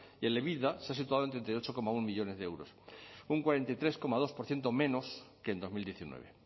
y el ebitda se ha situado en treinta y ocho coma uno millónes de euros un cuarenta y tres coma dos por ciento menos que en dos mil diecinueve